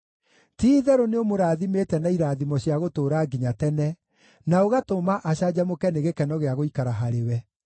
Ti-itherũ nĩũmũrathimĩte na irathimo cia gũtũũra nginya tene, na ũgatũma acanjamũke nĩ gĩkeno gĩa gũikara harĩwe.